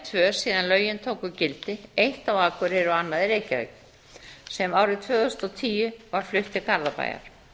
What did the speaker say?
tvö síðan lögin tóku gildi eitt á akureyri og annað í reykjavík sem árið tvö þúsund og tíu var flutt til garðabæjar